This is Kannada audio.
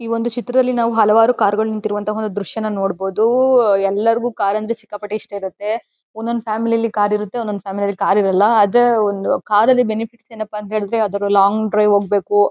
ಈ ಒಂದು ಚಿತ್ರದಲ್ಲಿ ನಾವು ಹಲವಾರು ಕಾರು ಗಳು ನಿಂತಿರುವಂತಹ ಒಂದು ದೃಶ್ಯವನ್ನು ನೋಡಬಹುದೂ ಎಲ್ಲರಿಗು ಕಾರು ಎಂದರೆ ಸಿಕ್ಕಾಪಟ್ಟೆ ಇಷ್ಟ ಇರುತ್ತೆ ಒಂದೊಂದು ಫ್ಯಾಮಿಲಿ ಯಲ್ಲಿ ಕಾರು ಇರುತ್ತೆ ಒಂದೊಂದು ಫ್ಯಾಮಿಲಿ ಯಲ್ಲಿ ಕಾರು ಇರಲ್ಲ ಆದ್ರೆ ಒಂದು ಕಾರ್ ಲ್ಲಿ ಬೆನಿಫಿಟ್ಸ್ ಏನಪ್ಪಾ ಅಂತಾ ಹೇಳಿದ್ರೆ ಆ ತರ ಲಾಂಗ್ ಡ್ರೈವ್ ಹೋಗ್ಬೇಕು.